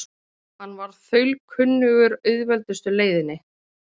Hann var þaulkunnugur auðveldustu leiðinni.